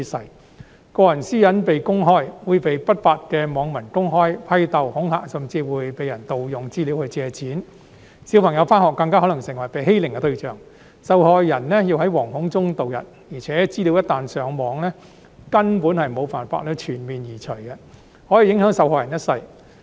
任何人一旦個人私隱被公開，會被不法的網民公開批鬥、恐嚇，甚至會被人盜用資料去借錢，小朋友上學時更可能成為欺凌對象，受害人要在惶恐中度日，而且資料一旦上網，根本無法全面移除，可以影響受害者一生。